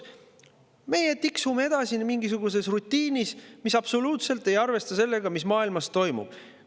Meie tiksume edasi mingisuguses rutiinis, mis absoluutselt ei arvesta sellega, mis maailmas toimub.